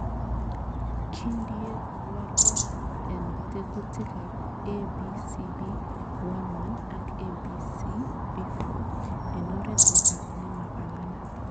Kindie walet en tekutikab ABCB11 ak ABCB4 en oret nemapanganat.